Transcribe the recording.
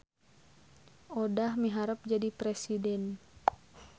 Odah miharep jadi presiden